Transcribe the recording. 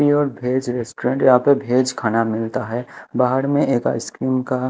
pure veg restaurant यहां पर veg खाना मिलता है बाहर में एक आइसक्रीम का--